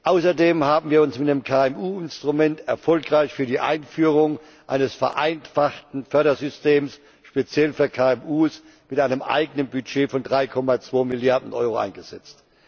Außerdem haben wir uns mit dem KMU Instrument erfolgreich für die Einführung eines vereinfachten Fördersystems speziell für KMU mit einem eigenen Budget von 3,2 Milliarden Euro eingesetzt.